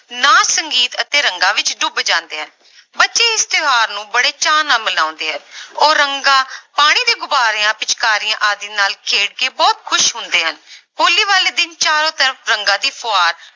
ਨਾਚ ਸੰਗੀਤ ਅਤੇ ਰੰਗਾਂ ਵਿੱਚ ਡੁੱਬ ਜਾਂਦੇ ਆ ਬੱਚੇ ਇਸ ਤਿਉਹਾਰ ਨੂੰ ਬੜੇ ਚਾਅ ਨਾਲ ਮਨਾਉਂਦੇ ਆ ਉਹ ਰੰਗਾਂ, ਪਾਣੀ ਦੇ ਗੁਬਾਰਿਆਂ, ਪਿਚਕਾਰੀਆਂ ਆਦਿ ਨਾਲ ਖੇਡ ਕੇ ਬਹੁਤ ਖ਼ੁਸ਼ ਹੁੰਦੇ ਹਨ ਹੋਲੀ ਵਾਲੇ ਦਿਨ ਚਾਰੋਂ ਤਰਫ਼ ਰੰਗਾਂ ਦੀ ਫੁਹਾਰ